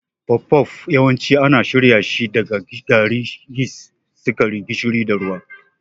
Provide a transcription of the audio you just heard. Puff-puff yawanci ana shirya shi da gari, yist, sukari, gishiri, da ruwa.